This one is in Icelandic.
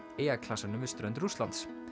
eyjaklasanum við strönd Rússlands